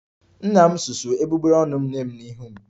Nna m susuo egbugbere ọnụ nne m n'ihu m